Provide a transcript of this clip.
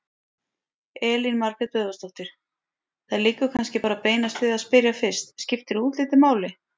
Elín Margrét Böðvarsdóttir: Það liggur kannski bara beinast við að spyrja fyrst: Skiptir útlitið máli?